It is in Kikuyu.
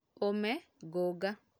Ũme, ngũnga